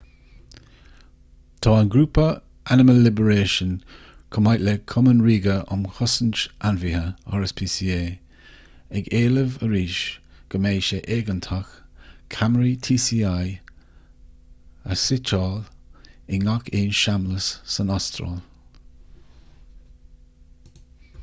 tá an grúpa animal liberation chomh maith le cumann ríoga um chosaint ainmhithe rspca ag éileamh arís go mbeidh sé éigeantach ceamaraí tci a shuiteáil i ngach aon seamlas san astráil